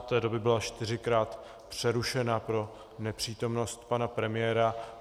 Od té doby byla čtyřikrát přerušena pro nepřítomnost pana premiéra.